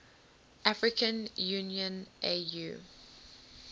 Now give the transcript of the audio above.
african union au